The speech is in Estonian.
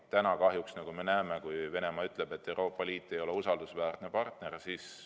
Täna kahjuks, nagu me näeme, ütleb Venemaa, et Euroopa Liit ei ole usaldusväärne partner.